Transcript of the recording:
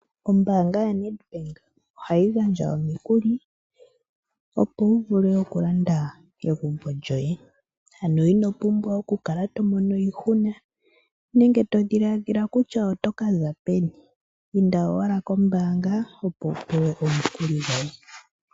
Ombaanga ya NedBank ohayi gandja omikuli, opo wu vule okulanda egumbo lyoye. Ano ino pumbwa okukala to mono iihuna nenge to dhiladhila kutya oto ka za peni. Inda owala kombaanga opo wu pewe omukuli goye.